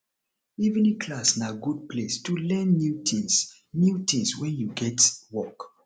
evening class na good place to learn new tins new tins wen you get work